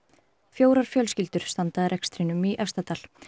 fjórar fjölskyldur standa að rekstrinum í Efstadal